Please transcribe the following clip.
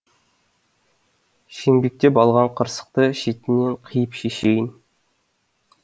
шеңбектеп алған қырсықты шетінен қиып шешейін